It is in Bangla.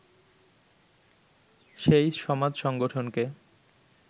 সেই সমাজ-সংগঠনকে